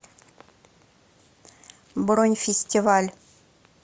бронь фестиваль